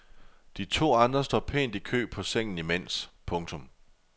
De to andre står pænt i kø på sengen imens. punktum